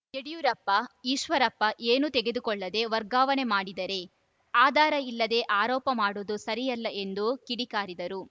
ಯಡಿಯೂರಪ್ಪ ಈಶ್ವರಪ್ಪ ಏನೂ ತೆಗೆದುಕೊಳ್ಳದೆ ವರ್ಗಾವಣೆ ಮಾಡಿದರೆ ಆಧಾರ ಇಲ್ಲದೆ ಆರೋಪ ಮಾಡುವುದು ಸರಿಯಲ್ಲ ಎಂದು ಕಿಡಿಕಾರಿದರು